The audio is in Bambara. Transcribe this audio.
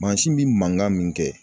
Mansin bɛ mankan min kɛ